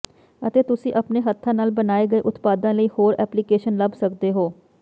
ਅਤੇ ਤੁਸੀਂ ਆਪਣੇ ਹੱਥਾਂ ਨਾਲ ਬਣਾਏ ਗਏ ਉਤਪਾਦਾਂ ਲਈ ਹੋਰ ਐਪਲੀਕੇਸ਼ਨ ਲੱਭ ਸਕਦੇ ਹੋ